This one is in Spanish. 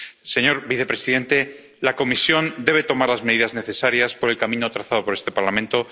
Señor vicepresidente, la Comisión debe tomar las medidas necesarias por el camino trazado por este Parlamento.